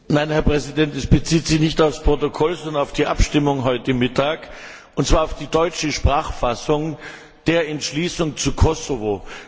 Nein, Herr Präsident, es bezieht sich nicht auf das Protokoll, sondern auf die Abstimmung heute Mittag, und zwar auf die deutsche Sprachfassung der Entschließung zu Kosovo.